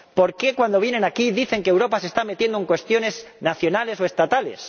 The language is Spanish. ¿Por qué cuando vienen aquí dicen que Europa se está metiendo en cuestiones nacionales o estatales?